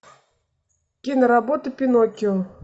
киноработа пиноккио